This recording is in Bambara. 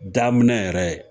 Daminɛ yɛrɛ